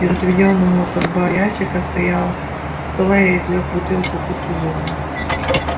из отведённого под бар ящика стояла стола я извлёк бутылку кутузова